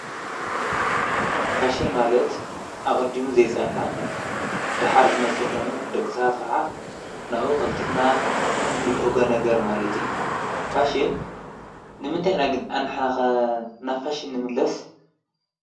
ፋሽን ማለት ኣቐዲሙ ዘይጸንሐ ደኃር ዝመጹ ኾይኑ ደቕሳት ኸዓ ናኡ ቐልጢፍና እንብገ ነገር ማለት እዩ። ፋሽን ንምንታይ ና ግን ኣንሕናኸ ናፋሽን ንምለስ?